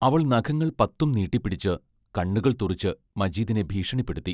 അവൾ നഖങ്ങൾ പത്തും നീട്ടിപ്പിടിച്ച്, കണ്ണുകൾ തുറിച്ച് മജീദിനെ ഭീഷണിപ്പെടുത്തി.